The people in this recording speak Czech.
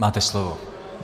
Máte slovo.